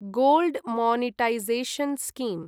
gold monetisation scheme